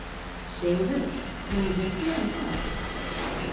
Sigurður, mun rigna í dag?